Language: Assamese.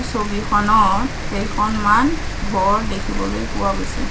ছবিখনত কেইখনমান ঘৰ দেখিবলৈ পোৱা গৈছে।